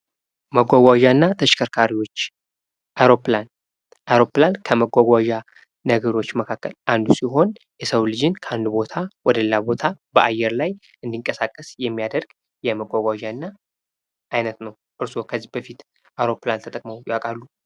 መጕጕዣ እና ተሽከርካሪዎች አውሮፕላን አውሮፕላን ከመጕጕዣ ነገሮች መካከል አንዱ ሲሆን የሰው ልጅን ከአንዱ ቦታ ወደሌላ ቦታ በአየር ላይ እንዲንቀሳቀስ የሚያደርግ የመጕጕዣ አይነት ነው:: እርሶ ከዚ በፊት አውሮፕላን ተጠቅመው ያውቃሉ?